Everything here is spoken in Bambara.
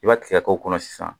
I b'a kisɛ k'o kɔnɔ sisan